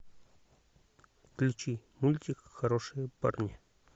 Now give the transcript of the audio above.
включи мультик хорошие парни